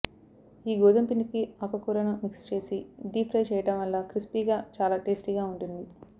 ఈ గోధుముపిండికి ఆకు కూరను మిక్స్ చేసి డీప్ ఫ్రై చేయడం వల్ల క్రిస్పీగా చాలా టేస్టీగా ఉంటుంది